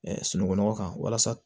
sunungunɔgɔ kan walasa